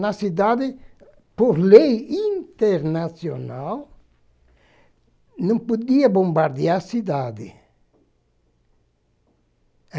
Na cidade, por lei internacional, não podia bombardear a cidade.